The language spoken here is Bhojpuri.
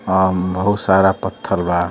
अ बहुत सारा पथल बा।